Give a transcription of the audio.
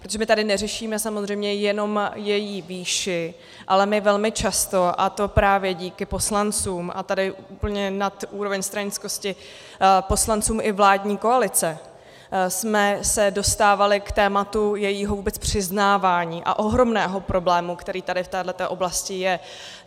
Protože my tady neřešíme samozřejmě jenom její výši, ale my velmi často, a to právě díky poslancům, a tady úplně nad úroveň stranickosti, poslancům i vládní koalice, jsme se dostávali k tématu jejího vůbec přiznávání a ohromného problému, který tady v této oblasti je.